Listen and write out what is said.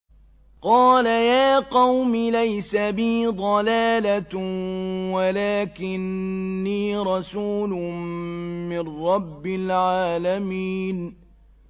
قَالَ يَا قَوْمِ لَيْسَ بِي ضَلَالَةٌ وَلَٰكِنِّي رَسُولٌ مِّن رَّبِّ الْعَالَمِينَ